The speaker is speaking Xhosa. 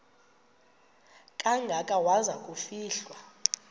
kangaka waza kufihlwa